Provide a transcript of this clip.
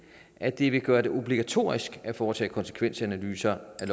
at det vil gøre det obligatorisk at foretage konsekvensanalyser af